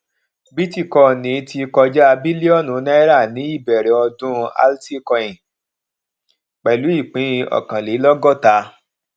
bítíkọnì ti kọjá bílíọnù náírà ní ìbẹrẹ ọdún alticoin pẹlú ìpín ọkànlélọgọta